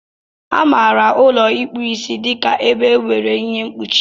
Amara ụlọ ịkpu Ịsị dịka ebe nwere ihe mkpuchi.